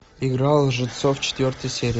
игра лжецов четвертая серия